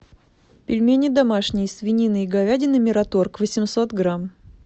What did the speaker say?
пельмени домашние свинина и говядина мираторг восемьсот грамм